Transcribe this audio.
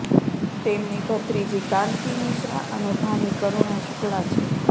તેમની ભત્રીજી કાંતિ મિશ્રા અને ભાણી કરુણા શુક્લા છે